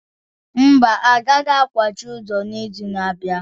Mba, a gaghị akwachi ụzọ n'izu na-abịa